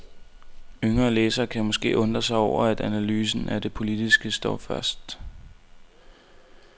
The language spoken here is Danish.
Yngre læsere kan måske undre sig over at analysen af det politiske står først.